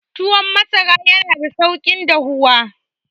Tuwon masara yana da sauki dahuwa.